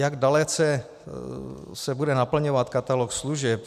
Jak dalece se bude naplňovat katalog služeb.